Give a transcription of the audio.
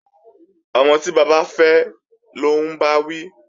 Ọmọ tí bàbá fẹ́ lọ́ ń bá wí